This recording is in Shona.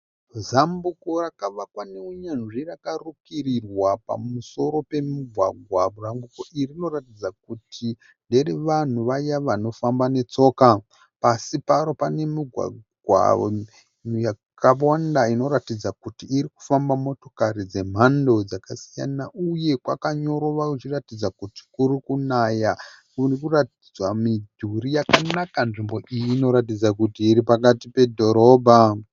Zambuko rakavakwa neunyanzvi rakarukirirwa pamusoro pemugwagwa. Zambuko iri riniratidza kuti ndere vanhu vaya vanofamba netsoka. Pasi paro pane migwagwa yakawanda inoratidza kuti iri kufamba motokari dzemhando dzakasiyana uye pakanyorova kuratidza kuti kuri kunaya. Kuri kuratidza midhuri yakanaka. Nzvimbo iyi iri kuratidza kuti iri pakati pedhorobha.